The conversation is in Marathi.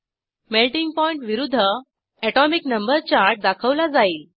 मेल्टिंग पॉइंट विरूध्द एटोमिक नंबर चार्ट दाखवला जाईल